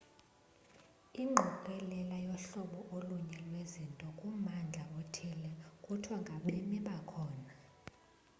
ingqokelela yohlobo olunye lwezinto kummandla othile kuthiwa ngabemi bakhona